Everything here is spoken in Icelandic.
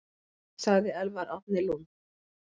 Sagði Elvar Árni Lund.